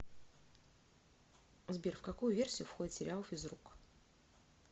сбер в какую версию входит сериал физрук